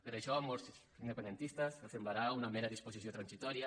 per això a molts independentistes els semblarà una mera disposició transitòria